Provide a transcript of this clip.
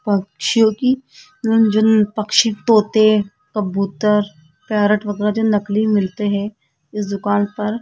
पक्षियों की जन पक्षी तोते कबूतर पैरट वगैरह जो नकली मिलते हैं इस दुकान पर --